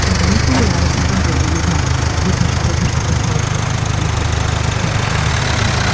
сен білмейсің ғой әрбір адам қазір өзінің бесінші төртінші атасын ескерткіш тұрғызып сондай бір жағдайға жетіп жатыр